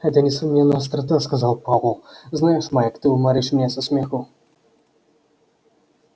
это несомненно острота сказал пауэлл знаешь майк ты уморишь меня со смеху